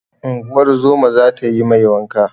Unguwar zoma za ta yi mai wanka.